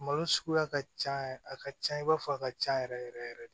Malo suguya ka ca yɛrɛ a ka ca i b'a fɔ a ka ca yɛrɛ yɛrɛ yɛrɛ yɛrɛ de